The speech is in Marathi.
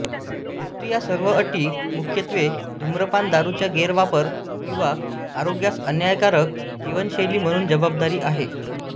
मृत्यू या सर्व अटी मुख्यत्वे धूम्रपान दारूचा गैरवापर किंवा आरोग्यास अन्यायकारक जीवनशैली म्हणून जबाबदार आहेत